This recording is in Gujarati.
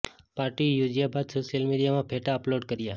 પાર્ટી યોજ્યા બાદ સોશ્યલ મીડિયામાં ફેટા અપલોડ કર્યા